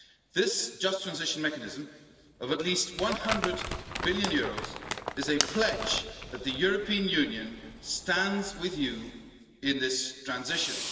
This Just Transition Mechanism, of at least EUR 100 billion, is a pledge that the European Union stands with you in this transition.